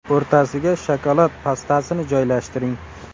O‘rtasiga shokolad pastasini joylashtiring.